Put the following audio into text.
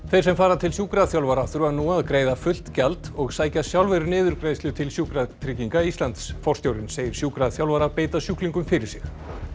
þeir sem fara til sjúkraþjálfara þurfa nú að greiða fullt gjald og sækja sjálfir niðurgreiðslu til Sjúkratrygginga Íslands forstjórinn segir sjúkraþjálfara beita sjúklingum fyrir sig